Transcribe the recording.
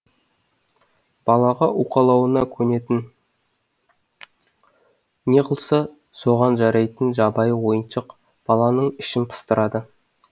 балаға уқалауына көнетін не қылса соған жарайтын жабайы ойыншық баланың ішін пыстырады